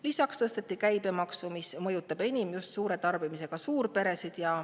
Lisaks tõsteti käibemaksu, mis mõjutab enim just suure tarbimisega suurperesid.